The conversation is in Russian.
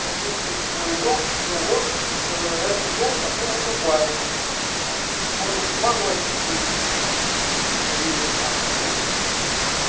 пометил свой дом что вот этот дом такого-то барина там может иван васильевича или там